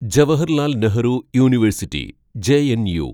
Jawaharlal Nehru university (JNU)